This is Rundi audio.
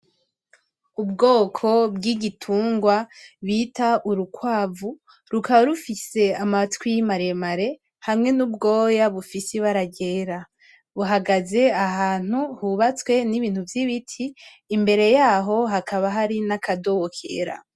Ubwoko bw'igitungwa bita urukwavu rukaba rufise amatwi maremare hamwe n'ubwoya bufise ibara ryera buhagaze ahantu hubatswe n'ibintu vy'ibiti imbere yaho hakaba hari n'akadobo kera.